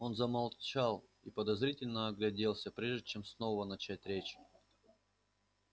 он замолчал и подозрительно огляделся прежде чем снова начать речь